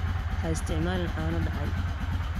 Ha isticmaalin caano dhacay.